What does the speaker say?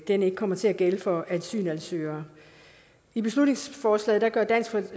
den ikke kommer til at gælde for asylansøgere i beslutningsforslaget gør dansk